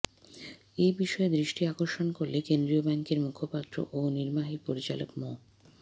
এ বিষয়ে দৃষ্টি আকর্ষণ করলে কেন্দ্রীয় ব্যাংকের মুখপাত্র ও নির্বাহী পরিচালক মো